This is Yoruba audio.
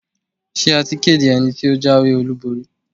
Ṣé a ti kéde ẹni tí ó jáwé-olúborí?